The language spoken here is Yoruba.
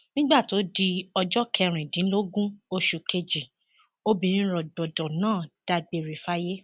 nígbà tó di ọjọ kẹrìndínlógún oṣù kejì obìnrin rògbòdo náà dágbére fáyé